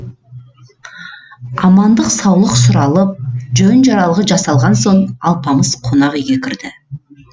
амандық саулық сұралып жөн жоралғы жасалған соң алпамыс қонақ үйге кірді